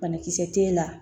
Banakisɛ t'e la